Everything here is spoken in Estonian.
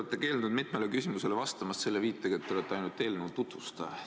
Te olete keeldunud mitmele küsimusele vastamast viitega, et te olete ainult eelnõu tutvustaja.